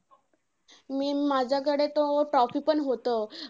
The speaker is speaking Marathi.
आणि माझ्याकडे तर trophy पण होतं.